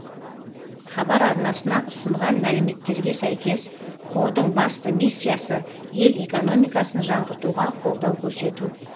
хабар арнасына ұсынған мәліметтерге сәйкес қордың басты миссиясы ел экономикасын жаңғыртуға қолдау көрсету